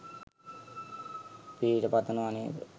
පිහිට පතනව නේද?